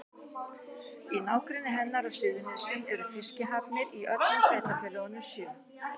Í nágrenni hennar á Suðurnesjum eru fiskihafnir í öllum sveitarfélögunum sjö.